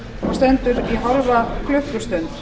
stendur í hálfa klukkustund